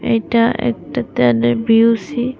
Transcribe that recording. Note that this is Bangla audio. এটা একটা ত্যালের বি_ইউ_সি ।